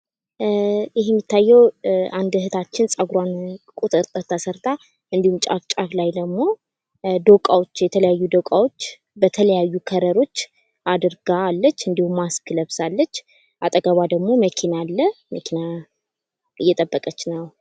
ይህ የሚታየው አንድ እህታችን ጸጉሯን ቁጥጥር ተሰርታ እንድሁም ጫፍ ጫፍ ላይ ዶቃዎች የተለያዩ ዶቃዎች በተለያዩ ከለሮች አድርጋለች። ማስክ ለብሳለች። አጠገቧ ደግሞ መኪና አለ። መኪና እየጠበቀች ነው።